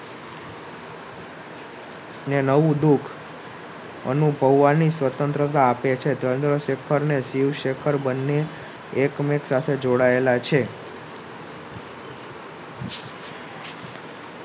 ને નવું દુઃખ અનુભવવાની સ્વતંત્રતા આપે છે. ચંદ્રશેખરને શિવશેખર બંને એકમેક સાથે જોડાયેલા છે.